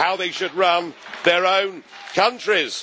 how they should run their own countries.